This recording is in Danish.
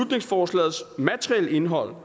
i materielle indhold